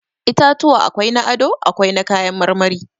Itatuwa akwai na ado, akwai na kayan marmari.